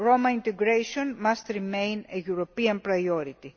Roma integration must remain a European priority.